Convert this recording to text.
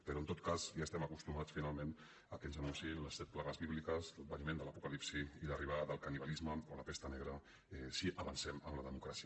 però en tot cas ja estem acostumats finalment que ens anunciïn les set plagues bíbliques l’adveniment de l’apocalipsi i l’arribada del canibalisme o la pesta negra si avancem en la democràcia